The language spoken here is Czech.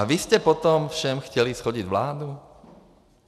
A vy jste potom všem chtěli shodit vládu?